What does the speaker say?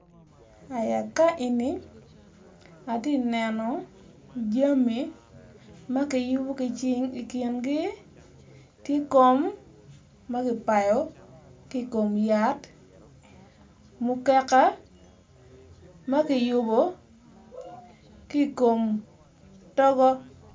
Ka eni atye ka neno jami ma kiyubo ki cing ikingi tye kom ma kipayo ki kom yat mukeka ma kiyubo ki kom togo